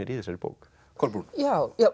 í þessari bók Kolbrún já